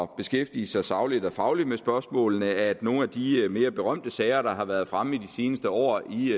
beskæftige sig sagligt og fagligt med de spørgsmål at nogle af de mere berømte sager der har været fremme i de seneste år i